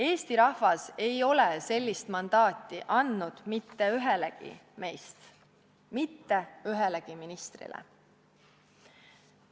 Eesti rahvas ei ole sellist mandaati andnud mitte ühelegi meist, mitte ühelegi ministrile.